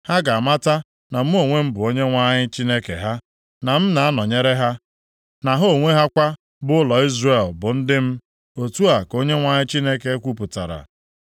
Ha ga-amata na mụ onwe m, bụ Onyenwe anyị Chineke ha, na m na-anọnyere ha, na ha onwe ha kwa, bụ ụlọ Izrel, bụ ndị m, otu a ka Onyenwe anyị Chineke kwupụtara.